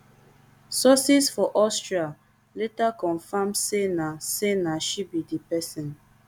sources for austria later confam say na say na she be di pesin